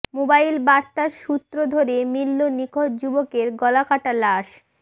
mobile বার্তার সূত্র ধরে মিলল নিখোঁজ যুবকের গলাকাটা লাশ